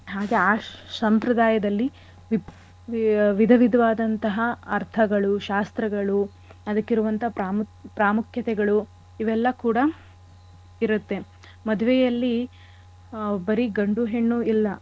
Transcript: ಹಾಗೆ ಆ ಸಂಪ್ರದಾಯದಲ್ಲಿ ವಿ~ ವಿಧ ವಿಧವಾದಂತಹ ಅರ್ಥಗಳು ಶಾಸ್ತ್ರಗಳು ಅದಕ್ಕಿರುವಂತ ಪ್ರಾಮುಖ್~ ಪ್ರಾಮುಖ್ಯತೆಗಳು ಇವೆಲ್ಲ ಕೂಡ ಇರತ್ತೆ. ಮದ್ವೆಯಲ್ಲಿ ಆ ಬರೀ ಗಂಡು ಹೆಣ್ಣು ಇಲ್ಲ.